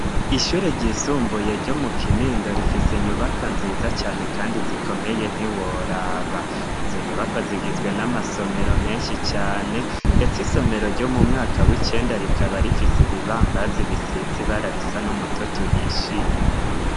Ishure ryisumbuye ryo mu Kinindo rifise inyubakwa nziza cane kandi zikomeye ntiworaba. Izo nyubakwa zigizwe n'amasomero menshi cane ndetse isomero ryo mu mwaka w'icenda rikaba rifise ibibambazi ibisize ibara risa n'umutoto uhishiye.